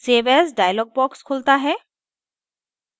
save as dialog box खुलता है